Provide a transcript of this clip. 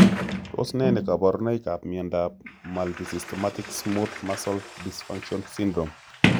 Tos ne kaborunoikap miondop multisystemic smooth muscle dysfunction syndrome?